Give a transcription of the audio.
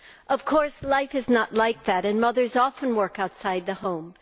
Of course, life is not like that and mothers often work outside the home.